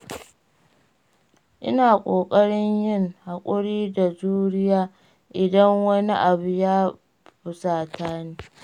Ina ƙoƙarin yin haƙuri da juriya idan wani abu ya fusata ni.